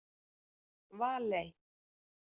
Valey